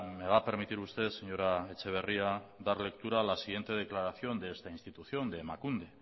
me va a permitir usted señora etxeberria dar lectura a la siguiente declaración de esta institución de emakunde